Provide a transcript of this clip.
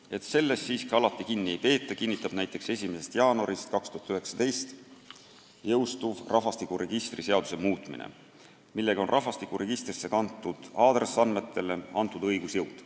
Et sellest siiski alati kinni ei peeta, kinnitab näiteks 1. jaanuaril 2019 jõustuv rahvastikuregistri seaduse muutmine, millega on rahvastikuregistrisse kantud aadressiandmetele antud õigusjõud.